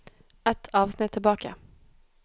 Ett avsnitt tilbake